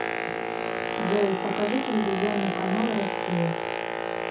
джой покажи телевизионный канал россия